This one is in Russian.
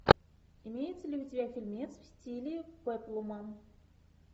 имеется ли у тебя фильмец в стиле пеплума